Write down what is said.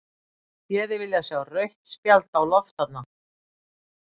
Ég hefði viljað sjá rautt spjald á loft þarna.